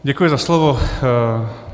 Děkuji za slovo.